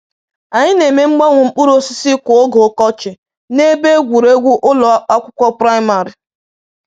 Anyị na-eme mgbanwe mkpụrụ osisi kwa oge ọkọchị na ebe egwuregwu ụlọ akwụkwọ primịrị.